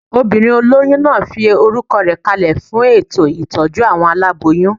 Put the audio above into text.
Obìnrin olóyún náà fi orúkọ rẹ̀ kalẹ̀ fún ètò ìtọ́jú àwọn aláboyún